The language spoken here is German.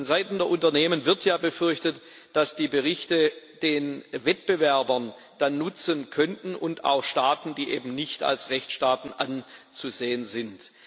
Vonseiten der Unternehmen wird ja befürchtet, dass die Berichte den Wettbewerbern dann nutzen könnten und auch Staaten, die eben nicht als Rechtsstaaten anzusehen sind.